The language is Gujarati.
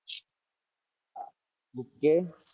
OK